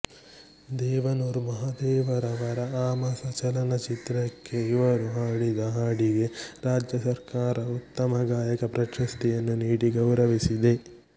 ದೇವನೂರು ಮಹದೇವರವರ ಅಮಾಸ ಚಲನ ಚಿತ್ರಕ್ಕೆ ಇವರು ಹಾಡಿದ ಹಾಡಿಗೆ ರಾಜ್ಯ ಸರ್ಕಾರ ಉತ್ತಮ ಗಾಯಕ ಪ್ರಶಸ್ತಿಯನ್ನು ನೀಡಿ ಗೌರವಿಸಿದೆ